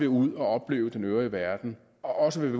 ud og opleve den øvrige verden og vil